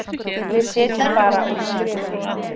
Við sitjum bara og skrifum.